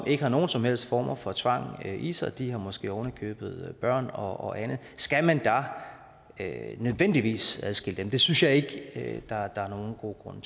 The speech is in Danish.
ikke har nogen som helst former for tvang i sig de har måske ovenikøbet børn og andet skal man da nødvendigvis adskille dem det synes jeg ikke der er nogen god grund